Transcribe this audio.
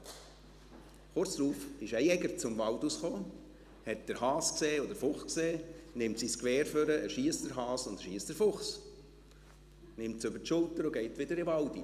Kurz darauf kam ein Jäger aus dem Wald, sah den Hasen und sah den Fuchs, nahm sein Gewehr und erschoss den Hasen und erschoss den Fuchs, nahm sie über die Schulter und ging wieder in den Wald.